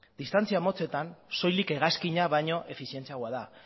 distantzia motzetan soilik hegazkina baino efizientziagoa da